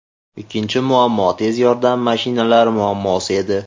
Ikkinchi muammo – tez yordam mashinalari muammosi edi.